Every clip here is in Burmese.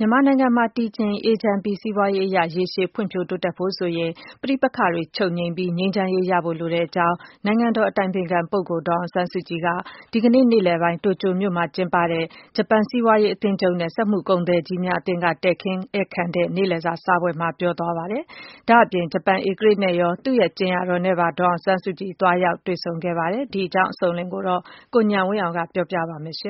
မြန်မာနိုင်ငံမှာ တည်ငြိမ်အေးချမ်းပြီး စီးပွားရေးအရ ရေရှည်ဖွံ့ဖြိုးတိုးတက်ဖို့ဆိုရင် ပဋိပက္ခတွေ ချုပ်ငြိမ်းပြီး ငြိမ်းချမ်းရေးရဖို့လိုကြောင်း နိုင်ငံတော် အတိုင်ပင်ခံ ပုဂ္ဂိုလ် ဒေါ်အောင်ဆန်းစုကြည်က ဒီကနေ့ နေ့လည်ပိုင်း တိုကျိုမြို့မှာကျင်းပတဲ့ ဂျပန်စီးပွားရေး အသင်းချုပ်နဲ့ စက်မှုကုန်သည်ကြီးများအသင်းက တည်ခင်းဧည့်ခံတဲ့ နေ့လည်စာ စားပွဲမှာ ပြောဆိုလိုက်ပါတယ်။ ဒါ့အပြင် ဂျပန်ဧကရာဇ်နဲ့ရော သူ့ရဲ့ ကြင်ယာတော်နဲ့ပါ ဒေါ်အောင်ဆန်းစုကြည် သွားရောက်တွေ့ဆုံခဲ့ပါတယ်။ အကြောင်းစုံကိုတော့ ကိုဉာဏ်ဝင်းအောင်က တင်ပြပါမယ်။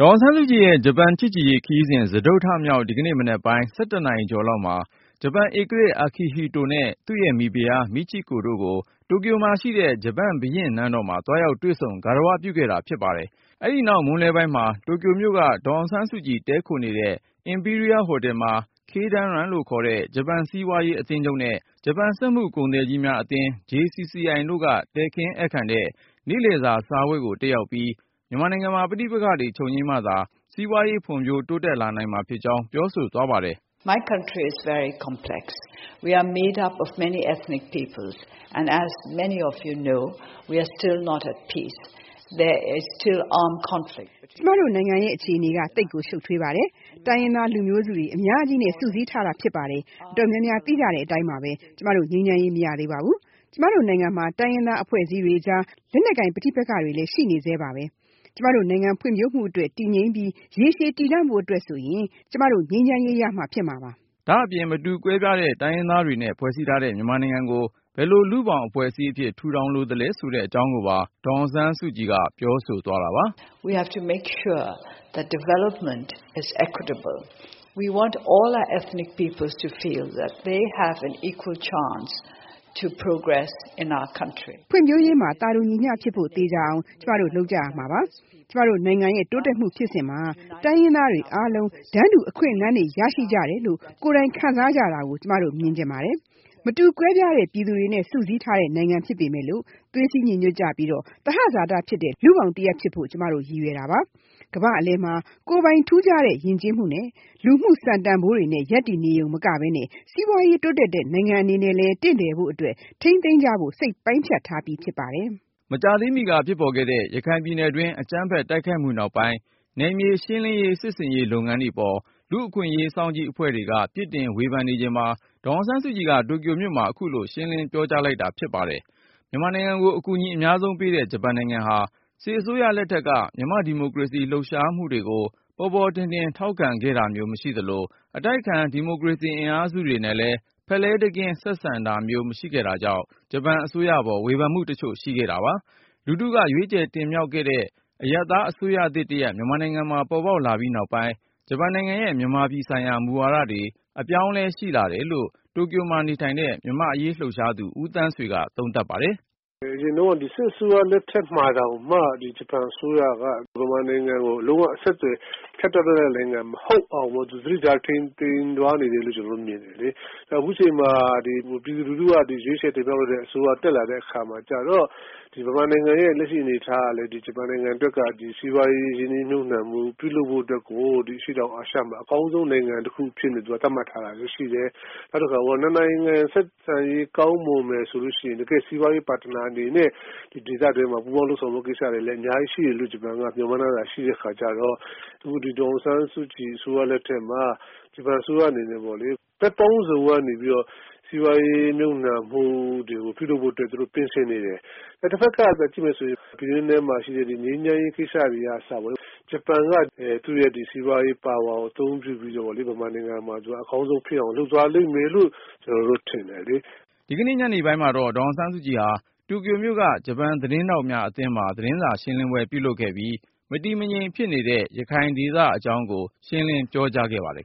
ဒေါ်အောင်ဆန်းစုကြည်ရဲ့ ဂျပန်ချစ်ကြည်ရေးခရီးစဉ် စတုတ္ထမြောက်နေ့ ဒီကနေ့ မနက်ပိုင်း ၁၁ နာရီကျော်လောက်မှာ ဂျပန်ဧကရာဇ် Akihito နဲ့ သူ့ရဲ့မိဖုရား Michiko တို့ကို တိုကျိုမှာရှိတဲ့ ဂျပန်ဘုရင့်နန်းတော်မှာ သွားရောက်တွေ့ဆုံ ဂါရဝပြုခဲ့တာဖြစ်ပါတယ်။ အဲဒီနောက် မွန်းလွဲပိုင်းမှာ တိုကျိုမြို့က ဒေါ်အောင်ဆန်း စုကြည် တည်းခိုနေတဲ့ The Imperial Hotel မှာ Keidanren လို့ခေါ်တဲ့ ဂျပန်စီးပွားရေးအသင်းချုပ်နဲ့ ဂျပန်စက်မှု ကုန်သည်ကြီးများ အသင်း JCCI တို့က တည်ခင်းဧည့်ခံတဲ့ နေ့လည်စာစားပွဲကို တက်ရောက်ပြီး မြန်မာနိုင်ငံမှာ ပဋိပက္ခတွေချုပ်ငြိမ်းမှသာ စီးပွာရေးဖွံ့ဖြိုးတိုးတက် လာနိုင်မှာဖြစ်ကြောင်း ပြောဆိုသွားပါတယ်။ “ကျမတို့နိုင်ငံ အခြေအနေက သိပ်ကို ရှုတ်ထွေးပါတယ်။ တိုင်းရင်းသား လူမျိုးစုတွေ အများကြီးနဲ့ စုစည်းထားတာဖြစ်ပါတယ်။ အတော် များများ သိကြတဲ့အတိုင်း၊ ကျမတို့ ငြိမ်းချမ်းရေး မရသေးပါဘူး။ ကျမတို့နိုင်ငံမှာ တိုင်းရင်းသားအဖွဲ့အစည်းတွေကြား လက်နက်ကိုင် ပဋိပက္ခတွေ ရှိနေဆဲဖြစ်ပါတယ်။ ကျမတို့နိုင်ငံဖွံ့ဖြိုးမှုအတွက် တည်ငြိမ်ပြီး ရေရှည်တည်တံ့ဖို့အတွက်ဆိုရင် ကျမတို့ ငြိမ်းချမ်းရေးရမှ ဖြစ်မှာပါ” ဒါ့အပြင် မတူကွဲပြားတဲ့ တိုင်းရင်းသားတွေနဲ့ ဖွဲ့စည်းထားတဲ့ မြန်မာနိုင်ငံကို ဘယ်လို လူ့ဘောင်အဖွဲ့အစည်းအဖြစ် ထူထောင်လိုသလဲ ဆိုတဲ့ အကြောင်း ကိုပါ ဒေါ်အောင်ဆန်းစုကြည် က ပြောဆိုသွားတာပါ။ “ဖွံ့ဖြိုးရေးမှာ သာတူညီမျှဖြစ်ဖို့ သေချာအောင် ကျမတို့ လုပ်ကြရမှာဖြစ်ပါတယ်။ ကျမတို့နိုင်ငံရဲ့ တိုးတက်မှုဖြစ်စဉ်မှာ တိုင်းရင်းသားတွေ အားလုံး တန်းတူအခွင့်အလမ်းတွေ ရရှိကြတယ်လို့ ကိုယ်တိုင်ခံစားကြတာကို ကျမတို့ဖြစ်စေချင်ပါတယ်။ မတူကွဲပြားတဲ့ ပြည်သူတွေနဲ့ စုစည်း ထားတဲ့ နိူင်ငံဖြစ်ပေမဲ့ သွေးစည်းညီညွတ်ကြပြီး သဟဇာတဖြစ်တဲ့ လူ့ဘောင်တရပ်ဖြစ်ဖို့ ကျမတို့ရည်ရွယ်ပါတယ်။ ကမ္ဘာ့အလယ်မှာ ကိုယ်ပိုင် ထူးခြားတဲ့ ယဉ်ကျေးမှုနဲ့ လူမှုတန်ဖိုးတွေနဲ့ ရပ်တည်နေရုံမကဘဲ စီးပွားရေးတိုးတက်တဲ့ နိူင်ငံအနေနဲ့လည်း တင့်တယ်ဖို့အတွက် ထိန်းသိမ်း ကြဖို့စိတ်ပိုင်းဖြတ် ထားတာဖြစ်ပါတယ်” မကြာသေးမီက ဖြစ်ပေါ်ခဲ့တဲ့ ရခိုင်ပြည်နယ်တွင်း အကြမ်းဖက်တိုက်ခိုက်မှုနောက်ပိုင်း နယ်မြေရှင်းလင်းရေး စစ်ဆင်ရေးလုပ်ငန်းတွေပေါ် လူ့အခွင့်အရေးစောင့်ကြည့် အဖွဲ့တွေက ဝေဖန်ပြစ်တင်နေချိန်မှာ ဒေါ်အောင်ဆန်းစုကြည်က တိုကျိုမြို့မှာ အခုလို ရှင်းလင်းပြောကြားလိုက်တာ ဖြစ်ပါတယ်။ မြန်မာနိုင်ငံကို အကူအညီအများဆုံးပေးတဲ့ ဂျပန်နိူင်ငံဟာ စစ်အစိုးရ လက်ထက်က မြန်မာ့ဒီမိုကရေစီ လှုပ်ရှားမှုတွေ ကို ပေါ်ပေါ်ထင်ထင် ထောက်ခံခဲ့ တာမျိုး မရှိသလို၊ အတိုက်အခံ ဒီမိုကရေစီအင်အားစုတွေနဲ့လည်း ဖက်လှဲတကင်း ဆက်ဆံရေး မရှိခဲ့တာကြောင့် ဂျပန်အစိုးရပေါ် ဝေဖန်မှုတချို့ ရှိခဲ့တာပါ။ လူထုက ရွေးချယ်တင်မြှောက်တဲ့ အရပ်သား အစိုးရသစ် တရပ် မြန်မာနိုင်ငံမှာ ပေါ်ပေါက် လာပြီး နောက်ပိုင်း ဂျပန် နိူင်ငံရဲ့ မြန်မာပြည်ဆိုင်ရာ မူဝါဒတွေ အပြောင်းအလဲရှိလာတယ်လို့ တိုကျိုမှာနေထိုင်တဲ့ မြန်မာ့အရေးလှုပ်ရှားသူ ဦးသန်းဆွေက သုံးသပ် ပါတယ်။ " အရင်တုန်းက စစ်အစိုးရလက်ထက်မှာတောင်မှ ဒီဂျပန်အစိုးရက မြန်မာနိုင်ငံကို လုံးဝ အဆက်အသွယ်ဖြတ်တောက်လိုက်တဲ့နိုင်ငံ မဟုတ်အောင် သူ သတိထားထိန်းသိမ်းပြီးသွားနေတယ်လို့ ကျနော်တို့က မြင်တယ်လေ။ နောက် အခုချိန်မှာ ပြည်သူလူထုက ရွေးချယ်တင်မြှောက်လိုက်တဲ့ အစိုးရတက်လာတဲ့ အချိန်မှာကျတော့ မြန်မာနိုင်ငံရဲ့ လက်ရှိအနေအထားကလည်း ဂျပန်နိုင်ငံအတွက်က စီးပွားရေး ရင်းနှီးမြှုပ်နှံမှု ပြုလုပ်ဖို့အတွက်ကို ဒီအရှေ့တောင်အာရှမှာ အကောင်းဆုံးနိုင်ငံအဖြစ် သတ်မှတ်ထားတာလည်း ရှိတယ်။ နောက်တခုက နှစ်နိုင်ငံ ဆက်ဆံရေးကောင်းမွန်မယ်ဆိုရင် တကယ့်စီးပွားရေး ပတ်တနာ အနေနဲ့ ဒေသတွင်းမှာ ပူးပေါင်းလုပ်ဆောင်ဖို့ ကိစ္စတွေ အများကြီးရှိမယ်လို့ ဂျပန်က မျော်မှန်းထားတာ ရှိတဲ့အခါကျတော့ အခု ဒီဒေါ်အောင်ဆန်းစုကြည် အစိုးရလက်ထက်မှာ ဂျပန်အစိုးရအနေနဲ့ပေါ့လေ ဘက်ပေါင်းစုံကနေပြီးတော့ စီးပွားရေးမြှုပ်နှံမှုတွေကို ပြုလုပ်ဖို့အတွက် ပြင်ဆင်နေတယ်။ တဖက်ကပြန်ကြည့်မယ်ဆိုရင် ဒီငြိမ်းချမ်းရေးကိစ္စတွေကအစပေါ့လေ ဂျပန်က သူ့ရဲ့ ဒီစီးပွားရေးပါဝါကိုသုံးပြီးတော့ပေါ့လေ မြန်မာနိုင်ငံမှာ အကောင်းဆုံးဖြစ်အောင် သူလုပ်သွားလိမ့်မယ်လို့ ကျနော်တို့ထင်တယ်လေ။" ဒီကနေ့ညနေပိုင်းမှာတော့ ဒေါ်အောင်ဆန်းစုကြည်ဟာ တိုကျိုမြို့က ဂျပန်သတင်းထောက်များအသင်းမှာ သတင်းစာရှင်းလင်းပွဲလုပ်ခဲ့ပြီး မတည်မငြိမ်ဖြစ်နေတဲ့ ရခိုင်ဒေသအကြောင်းကို ရှင်းလင်းပြောကြားခဲ့ပါတယ်